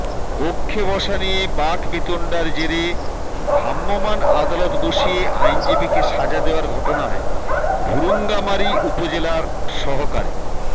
কক্ষে বসা নিয়ে বাকবিতণ্ডার জেরে ভ্রাম্যমাণ আদালত বসিয়ে আইনজীবীকে সাজা দেয়ার ঘটনায় ভুরুঙ্গামারী উপজেলার সহকারী